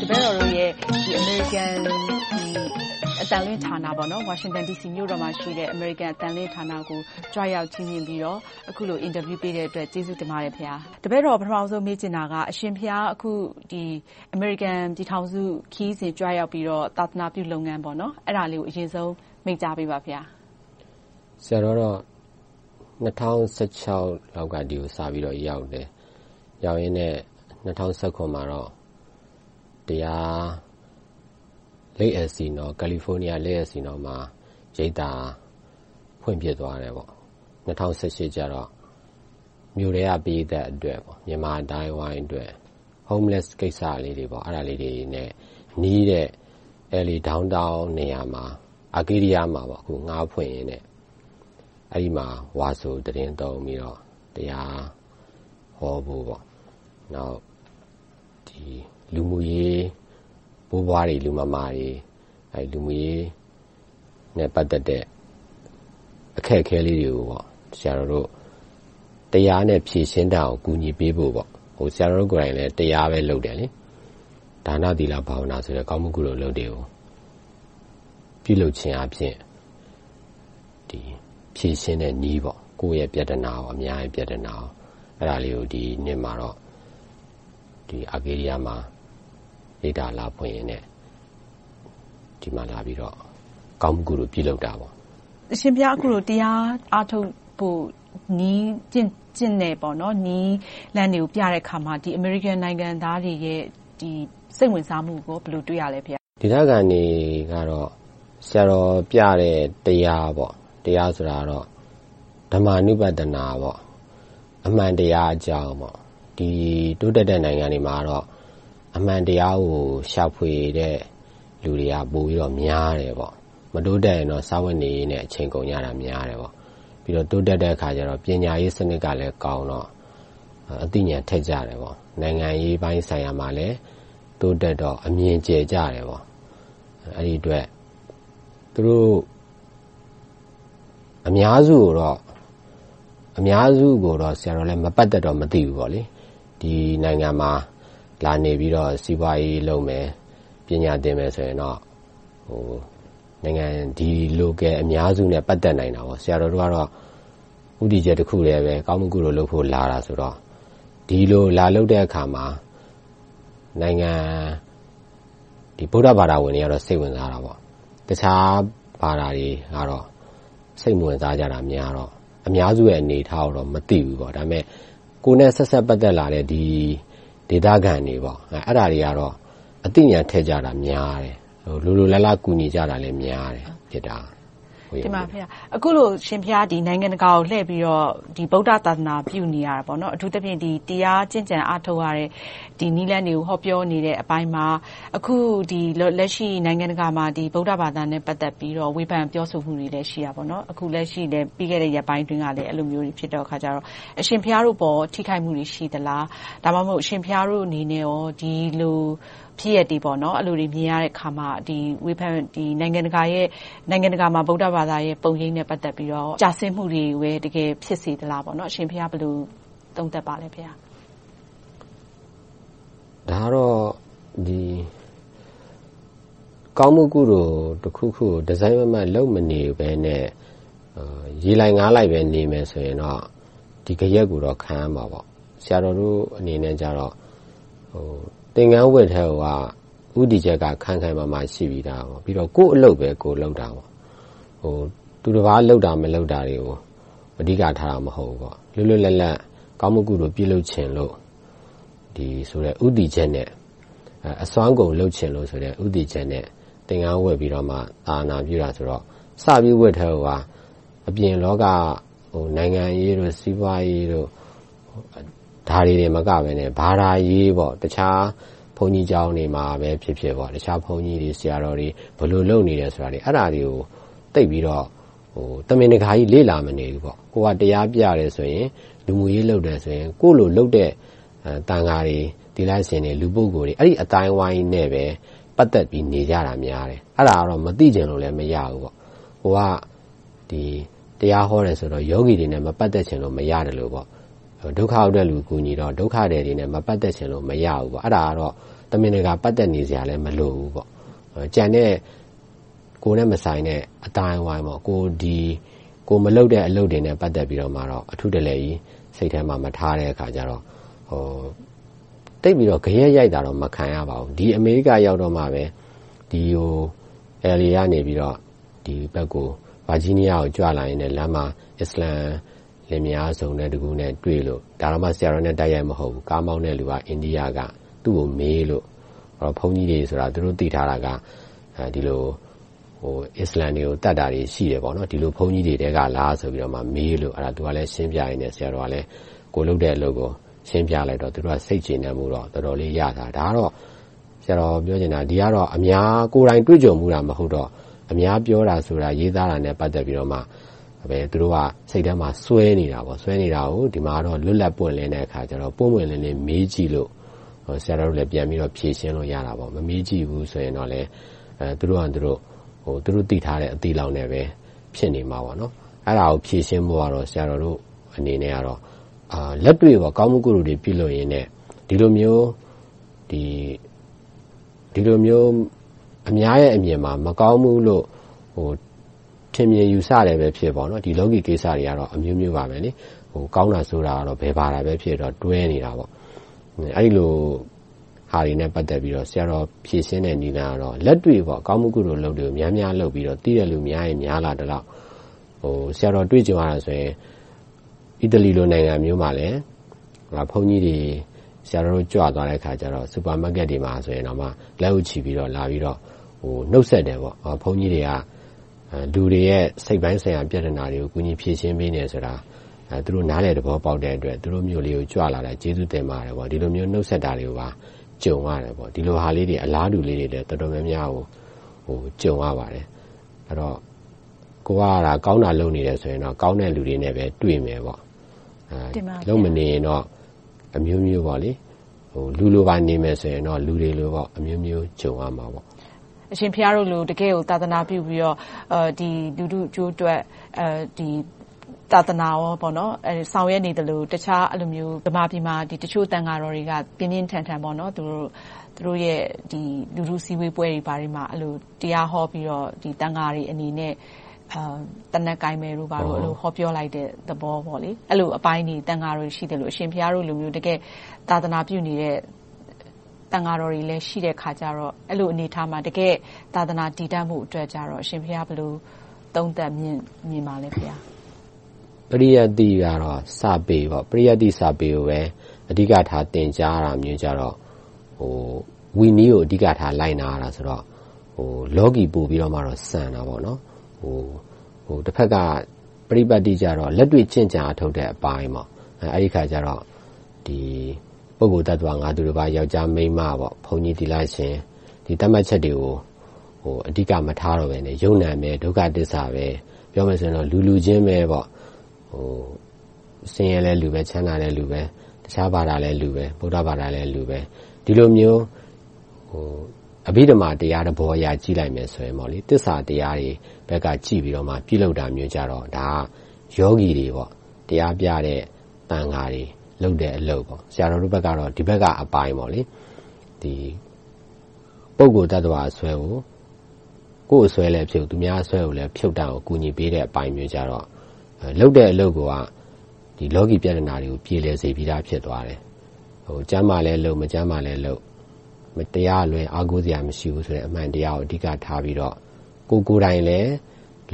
တပည့်တော်တို့ရဲ့ ဝါရှင်တန်ဒီစီမြို့မှာရှိတဲ့ အမေရိကန်အသံလွှင့်ဌာနကို ကြွရောက်ချီးမြှင့်ပြီးတော့ အခုလို အင်တာဗျူးပေးတဲ့အတွက် ကျေးဇူးတင်ပါတယ်ဘုရား။ တပည့်တော် ပထမဦးဆုံး မေးချင်တာက အရှင်ဘုရား အခု အမေရိကန်ပြည်ထောင်စု ခရီးစဉ်ကြွရောက်ပြီးတော့ သာသနာပြုလုပ်ငန်းလေးကို ဦးစွာမိန့်ကြားပေးပါဘုရား။ ၂၀၁၆ လောက်က ဒီကိုစပြီးတော့ ရောက်ခဲ့တယ်။ ရောက်ပြီးတော့ ၂၀၁၇ မှာတော့ California Lake Elsinore မှာ ရိပ်သာဖွင့်ဖြစ်သွားတယ်။ ၂၀၁၈ ကျတော့ မြို့ထဲက ပရိသတ်အတွက်၊ မြန်မာအသိုင်းအဝိုင်းအတွက်၊ Homelesss ကိစ္စလေးတွေ အဲဒါလေးတွေနဲ့နီးတဲ့ LA Downtown နေရာမှာ ငှားဖွင့်ပြီးတော့ အဲဒီမှာ ဝါဆိုသီတင်းသုံးပြိးတော့ တရားဟောဖို့၊ နောက် လူမှုရေးဘိုးဘွားတွေ၊ လူမမာတွေ လူမှုရေးနဲ့ ပတ်သက်တဲ့ အခက်အခဲလေးတွေကို ဆရာတော်တို့ တရားနဲ့ ဖြေရှင်းတတ်အောင် ကူညီပေးဖို့ - ဆရာတော်ကိုယ်တိုင်လည်း တရားပဲလုပ်တယ်။ ဒါန၊ သီလ၊ ဘာဝနာ ကောင်းမှုကုသိုလ် အလုပ်တွေကို ပြုလုပ်ခြင်းအားဖြင့် ဖြေရှင်းတဲ့နည်း ကိုယ့်ရဲ့ပြဿနာ နဲ့ အများရဲ့ပြဿနာ - အဲဒါလေးကို ဒီနှစ်မှာတော့ အားဘေးနီယားမှာ ရိပ်သာလာဖွင့်ရင်နဲ့ ဒီမှာလာပြီးတော့ ကောင်းမှုကုသိုလ် ပြုလုပ်တာပါ။ အရှင်ဘုရား အခုလို တရားအားထုတ်ဖို့နဲ့ ကျင့်နည်းလမ်းတွေကို ပြတဲ့အခါမှာ အမေရိကန်နိုင်ငံသားတွေရဲ့ စိတ်ဝင်စားမှုက ဘယ်လိုတွေ့ရသလဲ ဘုရား။ ဒေသခံတွေကတော့ ဆရာတော်ပြတဲ့ တရား - ဓမ္မံအနုပဒ - အမှန်တရားအကြောင်း။ ဒီတိုးတက်တဲ့ နိုင်ငံတွေမှာတော့ အမှန်တရားကို ရှာဖွေတဲ့ လူတွေက ပိုများတယ်။ မတိုးတက်ရင်တော့ စားဝတ်နေရေးနဲ့ အချိန်ကုန်ကြတာများတယ်။ တိုးတက်တဲ့အခါကြတော့ ပညာရေးစနစ်ကလည်းကောင်းတော့ အသိဉာဏ်ထက်ကြတယ်။ နိုင်ငံရေးပိုင်းဆိုင်ရာမှာလည်း တိုးတက်တော့ အမြင်ကျယ်ကြတယ်။ အဲဒီအတွက် သူတို့ အများစုကိုတော့ ဆရာတော်လည်း မပတ်သက်တော့ မသိဘူး။ ဒီနိုင်ငံမှာ လာနေပြီးတော့ စီးပွားရေးလုပ်မယ်၊ ပညာသင်မယ်ဆိုရင်တော့ ဒီ Local အများစုနဲ့ ပတ်သက်နိုင်တာပေါ့။ ဆရာတော်တို့ကတော့ ဦးတည်ချက်တခုတည်းပဲ ကောင်းမှုကုသိုလ်လုပ်ဖို့ လာတာဆိုတော့ ဒီလိုလာလုပ်တဲ့အခါမှာ ဗုဒ္ဓဘာသာဝင်တွေကတော့ စိတ်ဝင်စားတာပေါ့။ တခြားဘာသာတွေကတော့ စိတ်မဝင်စားကြတာများတော့ အများစုရဲ့ အနေအထားကိုတော့ မသိဘူး။ ဒါပေမဲ့ ကိုယ်နဲ့ဆက်နွှယ်ပတ်သက်လာတဲ့ ဒေသခံတွေ၊ သူတို့ကတော့ အသိဉာဏ်ထက်ကြတာများတယ်။ လိုလိုလားလား ကူညီကြတာလည်းများတယ်။ အခုလို အရှင်ဘုရား နိုင်ငံတကာကိုလှည့်ပြီးတော့ ဗုဒ္ဓသာသနာပြုနေတယ်။ အထူးသဖြင့် တရားကျင့်ကြံအားထုတ်ရတဲ့ ဒီနည်းလမ်းတွေကို ဟောပြောနေတဲ့အပိုင်းမှာ အခုလက်ရှိ နိုင်ငံတကာမှာ ဗုဒ္ဓဘာသာနဲ့ ပတ်သက်ပြီးတော့ ဝေဖန်ပြောဆိုမှုတွေလည်း ရှိတယ်။ အခုလက်ရှိ ပြီးခဲ့တဲ့ ရက်ပိုင်းအတွင်းကလည်း အဲဒီလိုမျိုးတွေ ဖြစ်တဲ့အခါကြတော့ အရှင်ဘုရားတို့ပေါ် ထိခိုက်မှုတွေ ရှိသလား။ ဒါမှမဟုတ် အရှင်ဘုရားတို့က ဒီလိုဖြစ်ရပ်တွေနဲ့ အဲဒီလိုမြင်ရတဲ့အခါမှာ နိုင်ငံတကာမှာ ဗုဒ္ဓဘာသာရဲ့ ပုံရိပ်နဲ့ ပတ်သက်လို့ ကျဆင်းမှုတွေကို တကယ်ဖြစ်စေသလား။ အရှင်ဘုရား ဘယ်လိုသုံးသပ်ပါလဲ ဘုရား။ ဒါကတော့ ကောင်းမှုကုသိုလ်တခုခုကို တစိုက်မတ်မတ် လုပ်မနေဘဲနဲ့ ရေလိုက်ငါးလိုက်ပဲ နေမယ်ဆိုရင်တော့ ဒီဂယက်ကိုတော့ ခံရမှာပေါ့။ ဆရာတော်တို့အနေနဲ့ကြတော့ သင်္ကန်းဝတ်ကတည်းကိုက ဦးတည်ချက်က ခိုင်ခိုင်မာမာ ရှိပြီသား။ ပြီးတော့ ကိုယ့်အလုပ်ပဲ ကိုယ်လုပ်တာ။ သူတပါးလုပ်တာ မလုပ်တာတွေကို အဓိကထားတာ မဟုတ်ဘူး။ လွတ်လွတ်လပ်လပ် ကောင်းမှုကုသိုလ် ပြုလုပ်ခြင်းဆိုတဲ့ ဦးတည်ချက်နဲ့ အစွမ်းကုန်လုပ်ချင်တယ်ဆိုတဲ့ ဦးတည်ချက်နဲ့ သာသနာပြုတာဆိုတော့ စပြီးဝတ်ကတည်းကို အပြင်လောကက နိုင်ငံရေးတွေ၊ စီးပွားရေးတို့ ဒါတွေသာမကဘဲ ဘာသာရေး - တခြားဘုန်းကြီးကျောင်းတွေမှာပဲဖြစ်ဖြစ် တခြားဘုန်းကြီးတွေ၊ ဆရာတော်တွေ ဘယ်လိုလုပ်နေသလဲ။ အဲဒါတွေကို သိပ်ပြီးတော့ တမင်တကာကြီး လေ့လာမနေဘူး။ ကိုယ်ကတရားပြတယ်ဆိုရင် ကိုယ့်လို လူမှုရေးလုပ်တဲ့ သံဃာတွေ၊ သီလရှင်တွေ၊ လူပုဂ္ဂိုလ်တွေ အဲဒီအသိုင်းအဝိုင်းနဲ့ပဲ ပတ်သက်ပြီး နေကြတာများတယ်။ အဲဒါကတော့ မသိချင်လို့လဲ မရဘူး။ ကိုယ်က တရားဟောတယ်ဆိုတော့ ယောဂီတွေနဲ့ မပတ်သက်ချင်လို့ မရသလို၊ ဒုက္ခရောက်သူတွေကို ကူညီတော့ ဒုက္ခသည်တွေနဲ့ မပတ်သက်ချင်လို့ မရဘူး။ အဲဒါတော့ တမင်တကာ ပတ်သက်စရာလည်း မလိုဘူးပေါ့။ ကျန်တဲ့ ကိုယ်နဲ့မဆိုင်တဲ့ အသိုင်းအဝိုင်း၊ ကိုယ်မလုပ်တဲ့ အလုပ်တွေနဲ့ ပတ်သက်ပြီးတော့မှ အထူးတလည်ကြီး စိတ်ထဲမှာ မထားတဲ့အခါကြတော့ သိပ်ပြီးတော့ ဂယက်ရိုက်တာတော့ မခံရပါဘူး။ ဒီအမေရိကရောက်တော့မှပဲ LA ကနေ ဒီဘက် ဗာဂျီးနီးယားကို ကြွလာရင်နဲ့ လမ်းမှာ အစ္စလာမ်လင်မယား စုံတွဲနဲ့တွေ့လို့ ဆရာတော်နဲ့ တိုက်ရိုက်မဟုတ်ဘူး။ ကားမောင်းတဲ့လူက အိန္ဒိယက သူကိုမေးလို့ ဘုန်းကြီးတွေဆိုတာ သူတို့သိထားတာက အစ္စလာမ်တွေကို သတ်တာတွေရှိတယ်။ ဒီလို ဘုန်းကြီးတွေထဲကလားဆိုပြီး မေးလို့ သူကရှင်းပြရင်းနဲ့ ဆရာတော်ကလည်း ကိုယ်လုပ်တဲ့အလုပ်ကို ရှင်းပြလိုက်တော့ သူတို့လည်း စိတ်ကျေနပ်မှု ရသွားတယ်။ ဒါကတော့ ကိုယ်တိုင်တွေ့ကြုံဖူးတာ မဟုတ်တော့ အများပြောတာဆိုတာ ရေးသားတာတွေနဲ့ ပတ်သက်ပြီးမှ သူတို့က စိတ်ထဲမှာစွဲနေတာကို ဒီမှာတော့ လွတ်လပ်ပွင့်လင်းတဲ့အခါကြတော့ ပွင့်ပွင့်လင်းလင်း မေးကြည့်လို့ ဆရာတော်တို့လည်း ပြန်ပြီးတော့ ဖြေရှင်းလို့ရတာပေါ့။ မမေးကြည့်ဘူးဆိုရင်တော့ သူတို့သိထားတဲ့ အသိလောက်နဲ့ ဖြစ်နေမှာပေါ့။ အဲဒါကို ဖြေရှင်းဖို့ကတော့ ဆရာတော်တို့အနေနဲ့ လက်တွေ့မှာ ကောင်းမှုကုသိုလ်တွေ ပြုလုပ်ရင်နဲ့ ဒီလိုမျိုး အများရဲ့အမြင်မှာ မကောင်းဘူးလို့ ထင်မြင်ယူဆတာပဲဖြစ်ဖြစ် ဒီလောကီကိစ္စတွေကတော့ အမျိုးမျိုးပါ။ ကောင်းတာဆိုးတာကတော့ ဘယ်ဘာသာပဲဖြစ်ဖြစ် တွဲနေတာပေါ့။ အဲဒီလိုဟာတွေနဲ့ ပတ်သက်လို့ ဆရာတော် ဖြေရှင်းတဲ့နည်းလမ်းကတော့ လက်တွေ့ကောင်းမှုကုသိုလ်တွေကို များများလုပ်ပြီးတော့ သိတဲ့လူ များရင်များသလောက် ဆရာတော်တွေ့ကြုံခဲ့ဖူးတာက အီတလီလို နိုင်ငံမျိုးမှာလည်း ဘုန်းကြီးတွေ၊ ဆရာတော်တို့ ကြွသွားတဲ့အခါ Supermaket တွေမှာတောင် လက်အုပ်ချီးပြီးတော့ လာပြီးတော့ နှုတ်ဆက်တယ်။ ဘုန်းကြီးတွေက လူတွေရဲ့ စိတ်ပိုင်းဆိုင်ရာ ပြဿနာတွေကို ကူညီဖြေရှင်းပေးနေတယ်ဆိုတာ သူတို့ နားလည်သဘောပေါက်တဲ့အတွက် သူတို့မြို့လေးကို ကြွလာတာ ကျေးဇူးတင်ပါတယ်။ အဲဒီလိုမျိုး နှုတ်ဆက်တာတွေပါ ကြုံရတယ်။ ဒီလိုမျိုး အလားတူလေးတွေလည်း တော်တော်များများကို ကြုံရပါတယ်။ အဲဒီတော့ ကိုယ်ကသာ ကောင်းတာလုပ်နေတယ်ဆိုရင်တော့ ကောင်းတဲ့လူတွေနဲ့ပဲ တွေ့မယ်။ လုပ်မနေရင်တော့ အမျိုးမျိုး လူတွေလိုနေမယ်ဆိုရင်တော့ လူတွေလို အမျိုးမျိုးကြုံရမှာပေါ့။ အရှင်ဘုရားတို့လို တကယ့်ကို သာသနာပြုပြီးတော့ လူထုအကျိုးအတွက် သာသနာရေး ဆောင်ရွက်နေသလို၊ တခြား အဲဒီလိုမျိုး မြန်မာပြည်မှာ တချို့သံဃာတော်တွေက ပြင်းပြင်းထန်ထန် သူတို့ လူထုဆန္ဒထုတ်ဖော်ပွဲမှာ တရားဟောပြီးတော့ သံဃာတွေအနေနဲ့ သေနတ်ကိုင်မယ်တို့ ဘာတို့ ဟောပြောကြတယ်။ အဲဒီလိုအပိုင်းတွေ သံဃာတော်တွေ ရှိသလို၊ အရှင်ဘုရားတို့လို တကယ့်သာသနာပြုနေတဲ့ သံဃာတော်တွေလည်း ရှိတဲ့အခါကြတော့ အဲဒီလိုအနေအထားမှာ သာသနာတည်တန့်ဖို့အတွက်ကြတော့ အရှင်ဘုရား ဘယ်လိုသုံးသပ်မြင်ပါလဲ ဘုရား။ ပရိယတ္တိကတော့ စာပေ ဖြစ်တယ်။ ပရိယတ္တိစာပေကိုပဲ အဓိကထား သင်ကြားတာမျိုးကြတော့ ဝိနည်းကို အဓိကထား လိုက်နာရတော့ လောကီကို ပိုပြီးတော့ဆန်တယ်။ တဘက်က ပဋိပတ္တိကြတော့ လက်တွေ့ကျင့်ကြံအားထုတ်တဲ့ အပိုင်းပေါ့။ အဲဒီအခါကြတော့ ပုဂ္ဂိုလ်၊ သတ္တဝါ၊ ငါသူတပါး၊ ယောကျ်ား၊ မိန်းမ၊ ဘုန်းကြီး၊ သီလရှင် ဒီသတ်မှတ်ချက်တွေကို အဓိကမထားတော့ဘဲနဲ့ ရုပ်နာမ်၊ ဒုက္ခသစ္စာပဲ ပြောမယ်ဆိုရင် လူလူချင်း - ဆင်းရဲလည်းလူပဲ၊ ချမ်းသာလည်းလူပဲ။ တခြားဘာသာလည်းလူပဲ၊ ဗုဒ္ဓဘာသာလည်းလူပဲ ဒီလိုမျိုး အဘိဓမ္မာတရားသဘောအရ ကြည့်လိုက်မယ်ဆိုရင် သစ္စာတရားတွေဘက်ကကြည့်ပြီးတော့ ပြုလုပ်တာမျိုးကြတော့ ယောဂီတွေ တရားပြတဲ့ သံဃာတွေ လုပ်တဲ့အလုပ်ပေါ့။ ဆရာတော်တို့ဘက်ကတော့ ဒီဘက်ကအပိုင်း။ ပုဂ္ဂိုလ်၊ သတ္တဝါအစွဲကို ကိုယ်အစွဲလည်းဖြုတ်၊ သူများအစွဲလည်း ဖြုတ်တတ်အောင် ကူညီပေးတဲ့အပိုင်းမျိုးကြတော့ လုပ်တဲ့အလုပ်တွေကိုက လောကီပြဿနာတွေကို ပြေလည်စေပြီသာ ဖြစ်သွားတယ်။ ကျန်းမာလည်းလုပ်၊ မကျန်းမာလည်းလုပ်။ တရားကလွဲ အားကိုးစရာမရှိဘူးဆိုတဲ့ အမှန်တရားကို အဓိကထားပြီးတော့ ကိုယ်ကိုယ်တိုင်လည်း